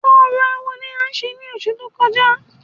Orò awo ni a ṣe ní ọsù tó kọjá